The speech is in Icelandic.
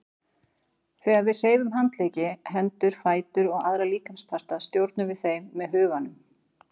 Þegar við hreyfum handleggi, hendur, fætur og aðra líkamsparta stjórnum við þeim með huganum.